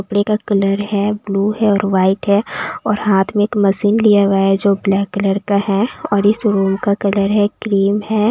कपड़े का कलर है ब्लू है और वाइट है और हाथ में एक मशीन लिया हुआ है जो ब्लैक कलर का है और इस रूम का कलर है क्रीम है।